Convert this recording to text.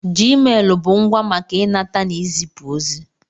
Jiimelụ bụ ngwá maka ịnata n'izipu ozi.